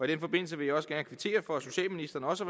den forbindelse vil jeg også gerne kvittere for at socialministeren også